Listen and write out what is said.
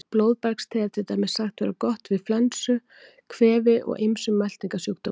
Blóðbergste er til dæmis sagt vera gott við flensu, kvefi og ýmsum meltingarsjúkdómum.